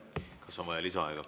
Kas on vaja lisaaega?